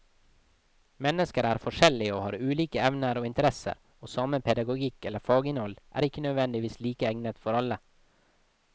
Mennesker er forskjellige og har ulike evner og interesser, og samme pedagogikk eller faginnhold er ikke nødvendigvis like egnet for alle.